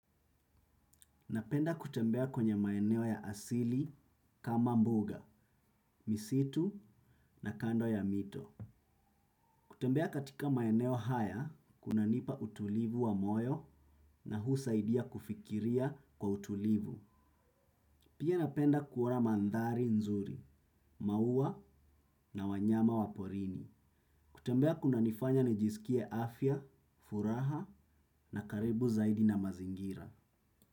Napenda kutembea kwenye maeneo ya asili kama mbuga misitu na kando ya mito. Kutembea katika maeneo haya kuna nipa utulivu wa moyo na husaidia kufikiria kwa utulivu. Pia napenda kuona mandhari nzuri maua na wanyama waporini. Kutembea kuna nifanya nijisikie afya furaha na karibu zaidi na mazingira.